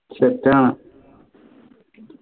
set ആണ്